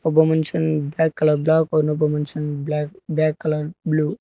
ಒಬ್ಬ ಮನುಷ್ಯನನ್ನು black colour ಬ್ಯಾಗನ್ನು ಗಮನಿಸು ಬ್ಯಾಗ್ ಕಲರ್ ಬ್ಲೂ --